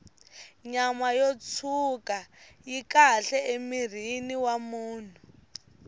nyama yo tshwuka yi kahle emirhini wa munhu